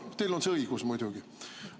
Teil on see õigus muidugi.